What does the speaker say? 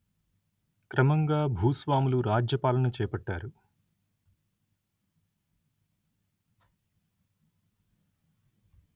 క్రమంగా భూస్వాములు రాజ్యపాలన చేపట్టారు